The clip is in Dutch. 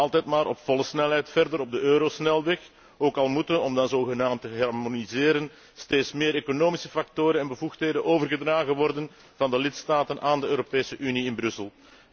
Men dendert altijd maar op volle snelheid verder op de eurosnelweg, ook al moeten om dan zogenaamd te harmoniseren steeds meer economische factoren en bevoegdheden overgedragen worden van de lidstaten aan de Europese Unie in Brussel.